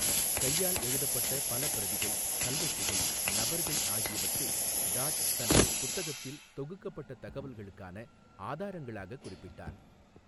கையால் எழுதப்பட்ட பல பிரதிகள், கல்வெட்டுகள், நபர்கள் ஆகியவற்றை டாட் தனது புத்தகத்தில் தொகுக்கப்பட்ட தகவல்களுக்கான ஆதாரங்களாகக் குறிப்பிட்டார்.